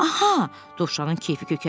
Aha, Dovşanın keyfi kökəldi.